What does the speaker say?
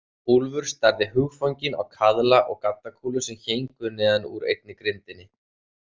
Úlfur starði hugfanginn á kaðla og gaddakúlur sem héngu neðan úr einni grindinni.